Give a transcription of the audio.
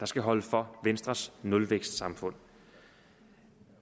skal holde for venstres nulvækstsamfund